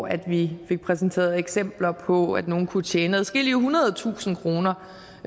af vi fik præsenteret eksempler på at nogle kunne tjene adskillige hundrede tusinde kroner